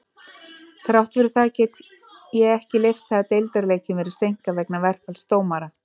Þrátt fyrir það get ég ekki leyft það að deildarleikjum verði seinkað vegna verkfalls dómara.